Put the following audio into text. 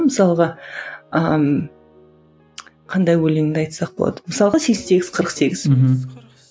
мысалға ыыы қандай өлеңіңді айтсақ болады мысалға сексен сегіз қырық сегіз мхм